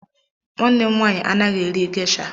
Nwanne m nwaanyị anaghị eri gesha.